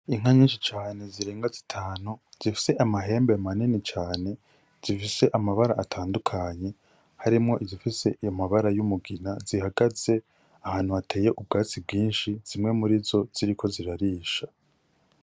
Inka nyinshi cane zirenga zitanu, zifise amahembe manini cane, zifise amabara atandukanye harimwo izifise amabara y'umugina, zihagaze ahantu hateye ubwatsi bwinshi, zimwe murizo ziriko zirarisha.